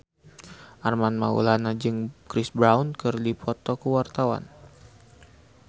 Armand Maulana jeung Chris Brown keur dipoto ku wartawan